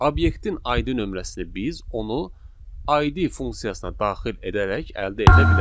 Obyektin ID nömrəsini biz onu ID funksiyasına daxil edərək əldə edə bilərik.